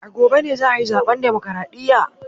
A gobe ne za a yi zaben Demokradiyya